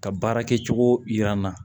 Ka baarakɛcogo yira n na